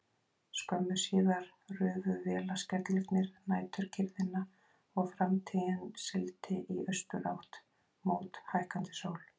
Skömmu síðar rufu vélarskellirnir næturkyrrðina og Framtíðin sigldi í austurátt mót hækkandi sól.